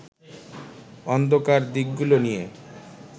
অন্ধকার দিকগুলো নিয়ে